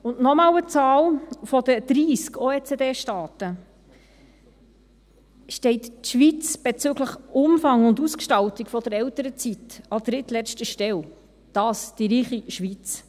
Und noch einmal eine Zahl: Von den 30 OECD-Staaten steht die Schweiz bezüglich Umfang und Ausgestaltung der Elternzeit an drittletzter Stelle; und dies die reiche Schweiz.